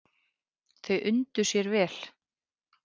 Þau undu sér vel.